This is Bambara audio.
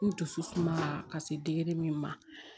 N dusu sumala ka se min ma